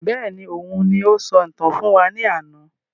Bẹ́ẹ̀ni, òun ní o sọ ìtàn fún wa ní àna